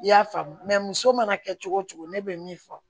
I y'a faamu muso mana kɛ cogo cogo ne bɛ min fɔ